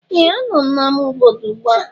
Ee! Anọ m n'amá obodo ugbu a.